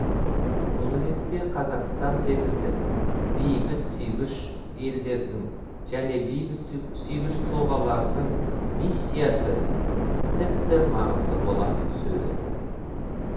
бұл ретте қазақстан секілді бейбіт сүйгіш елдердің және бейбіт сүйгіш тұлғалардың миссиясы тіпті маңызды бола түседі